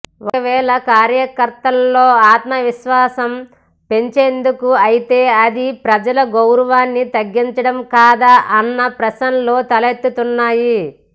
ఒకవేళ కార్యకర్తల్లో ఆత్మవిశ్వాసం పెంచేందుకే అయితే అది ప్రజల గౌరవాన్ని తగ్గించడంకాదా అన్న ప్రశ్నలు తలెత్తుతున్నాయి